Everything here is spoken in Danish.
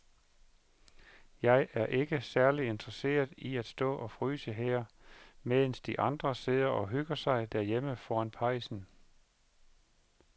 Jeg er ikke særlig interesseret i at stå og fryse her, mens de andre sidder og hygger sig derhjemme foran pejsen.